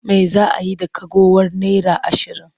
Me za a yi da ragowar naira ashirin?